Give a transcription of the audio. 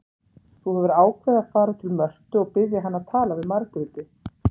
Þú hefur ákveðið að fara til Mörtu og biðja hana að tala við Margréti.